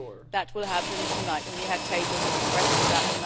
That will happen tonight, and we had tabled a request for that.